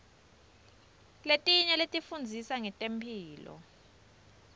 letinye tifundzisa ngetemphilo